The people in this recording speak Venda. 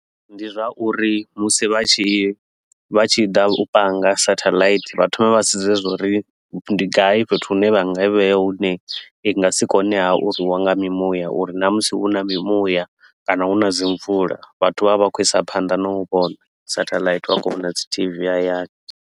Ndi zwa uri musi vha tshi vha tshi ḓa u panga satelite, vha thome vha sedze zwa uri ndi gai fhethu hune vha nga i vhea hune i nga si kone ha u rwiwa nga mimuya uri na musi hu na mimuya kana hu na dzi mvula, vhathu vha vhe vha khou isa phanḓa na u vhona satellite vha khou vhona dzi T_V hayani.